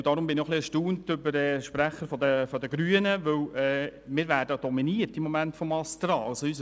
Deshalb bin ich etwas erstaunt über den Sprecher der Grünen, weil wir im Moment vom ASTRA dominiert werden.